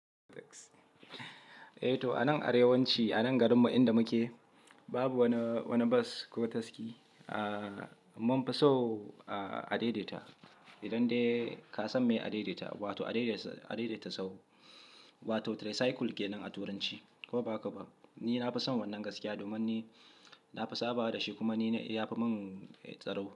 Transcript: Eh to a nan arewanci, a nan garinmu inda muke babu wani bas ko taski. Aaa munfi so adai-dai-ta. Idan dai ka san me adai-dai-ta, wato adai-dai-ta sahu, wato tricycle ke nan a turanci ko ba haka ba. Ni na fi son wannan gaskiya domin ni na fi sabawa da shi kuma ni-yafi min tsaro.